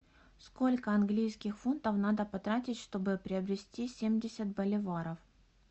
сколько английских фунтов надо потратить чтобы приобрести семьдесят боливаров